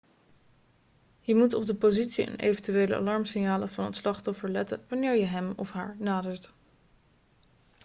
je moet op de positie en eventuele alarmsignalen van het slachtoffer letten wanneer je hem of haar nadert